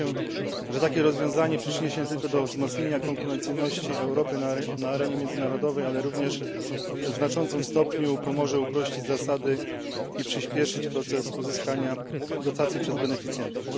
Zgadzam się, że takie rozwiązanie przyczyni się nie tylko do wzmocnienia konkurencyjności Europy na arenie międzynarodowej, ale również w znaczącym stopniu pomoże uprościć zasady i przyśpieszyć proces uzyskiwania dotacji przez beneficjentów.